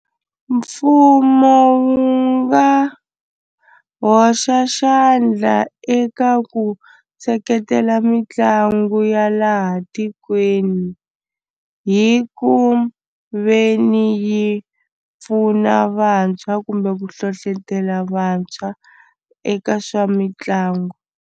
Mfumo wu nga hoxa xandla eka ku seketela mitlangu ya laha tikweni hi ku ve ni yi pfuna vantshwa kumbe ku hlohlotelo vantshwa eka swa mitlangu.